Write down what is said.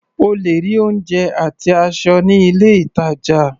O lè rí oúnjẹ àti aṣọ ní ilé-ìtàjà.